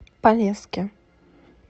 полесске